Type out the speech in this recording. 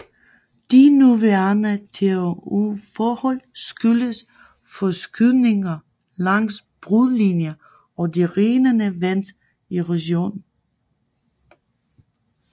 De nuværende terrænforhold skyldes forskydninger langs brudlinjer og det rindende vands erosion